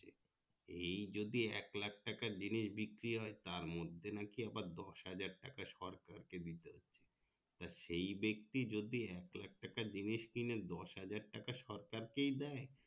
এই যদি একলাখ টাকার জিনিস বিক্রি হয় তার মধ্যে নাকি আবার দশ হাজার টাকা নাকি সরকারকে দিতে হচ্ছে তা সেই ব্যাক্তি যদি একলাখ টাকার জিনিস কিনে দশ হাজার টাকা সরকার কেই দেয়